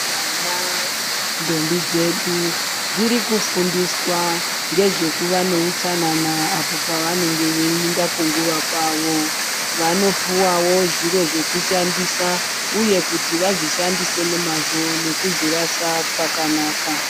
Vana ,ndombi dzedu ,dziri kufundiswa ngezvekuva neutsanana apo pavanenge veiinda kunguva kwavo. Vanopuwawo zviro zvekushandisa, uye kuti vazvishandise nemazvo nekuzvirasa pakanaka.